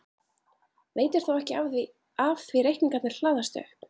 Veitir þó ekki af því reikningarnir hlaðast upp.